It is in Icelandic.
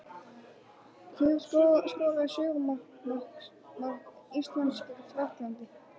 Hver skoraði sigurmark Íslands gegn Frakklandi?